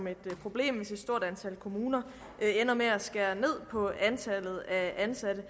et problem hvis et stort antal kommuner ender med at skære ned på antallet af ansatte